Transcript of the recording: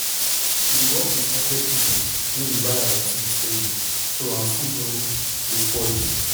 we dey work with market people wey dey buy our things um steady um so our food no food no um go spoil.